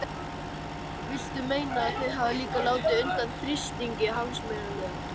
Viltu meina að þau hafi líka látið undan þrýstingi hagsmunaaðila?